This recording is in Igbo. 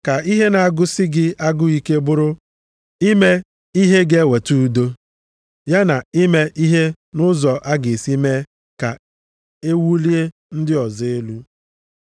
Ka ihe na-agụsị gị agụụ ike bụrụ ime ihe ga-eweta udo, ya na ime ihe nʼụzọ a ga-esi mee ka e wulie ndị ọzọ elu.